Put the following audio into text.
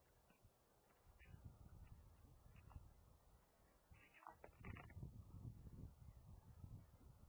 Íslenskt tölvufyrirtæki hlýtur styrk